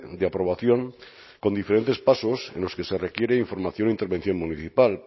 de aprobación con diferentes pasos en los que se requiere información de intervención municipal